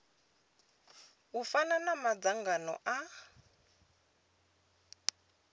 u fana na madzangano a